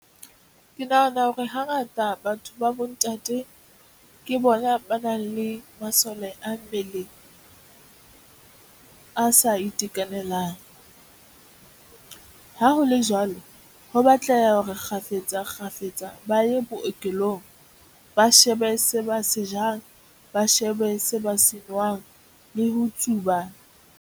Ke nahana hore hangata batho ba bontate ke bona ba nang le masole a mmele a sa itekanelang. Ha ho le jwalo, ho batleha hore kgafetsa kgafetsa ba ye bookelong, ba shebe se ba se jang, ba shebe se ba senwang le ho tsuba.